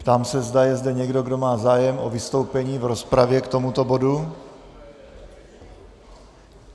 Ptám se, zda je zde někdo, kdo má zájem o vystoupení v rozpravě k tomuto bodu.